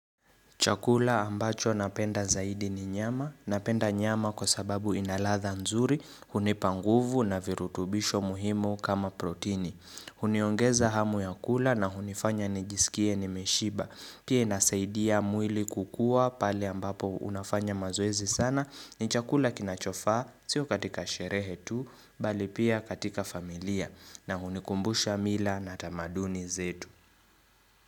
Chakula ambacho napenda zaidi ni nyama. Napenda nyama kwa sababu ina ladha nzuri, hunipa nguvu na virutubisho muhimu kama protini. Huniongeza hamu ya kula na hunifanya ni jisikie nimeshiba. Pia inasaidia mwili kukua pali ambapo unafanya maoezi sana ni chakula kinachofaa, sio katika sherehetu, bali pia katika familia na hunikumbusha mila na tamaduni zetu.